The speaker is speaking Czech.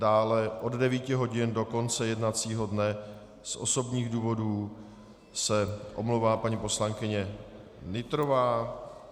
Dále od 9 hodin do konce jednacího dne z osobních důvodů se omlouvá paní poslankyně Nytrová.